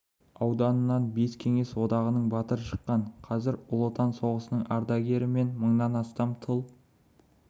ауданынан бес кеңес одағының батыры шыққан қазір ұлы отан соғысының ардагері мен мыңнан астам тыл